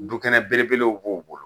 Dukɛnɛ belebelew b'o bolo